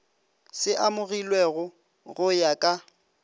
se amogilwego go ya ka